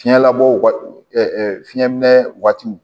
Fiɲɛ labɔ fiɲɛ minɛ waati